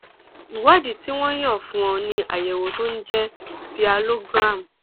ìwádìí tí wọn yàn fún ọ ni àyẹwò tó ń jẹ sialogram